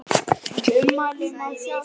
Ummælin má sjá hér.